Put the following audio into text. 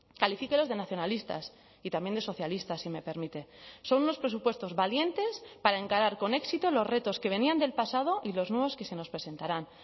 califíquelos de nacionalistas y también de socialistas si me permite son unos presupuestos valientes para encarar con éxito los retos que venían del pasado y los nuevos que se nos presentarán